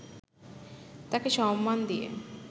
তাকে সম্মান দিয়ে